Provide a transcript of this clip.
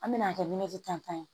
An bɛna kɛ tan ye